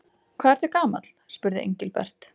Hvað ertu gamall? spurði Engilbert.